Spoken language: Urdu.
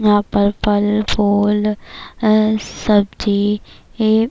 یہاں پر فل فول سبجی--